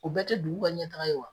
U bɛɛ tɛ dugu ka ɲɛtaga ye wa ?